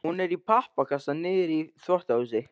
Hún er í pappakassa niðri í þvottahúsi.